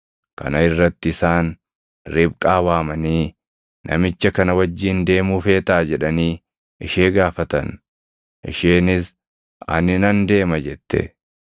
Kana irratti isaan Ribqaa waamanii, “Namicha kana wajjin deemuu feetaa?” jedhanii ishee gaafatan. Isheenis, “Ani nan deema” jette.